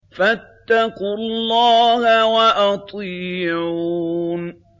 فَاتَّقُوا اللَّهَ وَأَطِيعُونِ